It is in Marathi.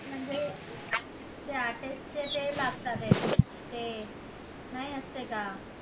म्हणजे ते artist चे ते लागतात ये नाय असते का